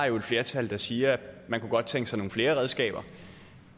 jo et flertal der siger at man kunne godt tænke sig nogle flere redskaber